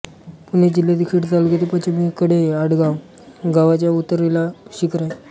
पुणे जिल्ह्यातील खेड तालुक्यातील पश्चिमेकडे आडगाव गावाच्या उत्तरेला हे शिखर आहे